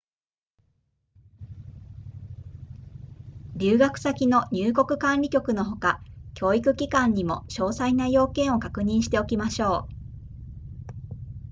留学先の入国管理局のほか教育機関にも詳細な要件を確認しておきましょう